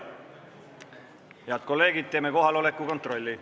Head kolleegid, teeme kohaloleku kontrolli.